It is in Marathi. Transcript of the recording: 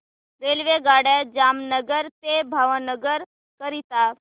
रेल्वेगाड्या जामनगर ते भावनगर करीता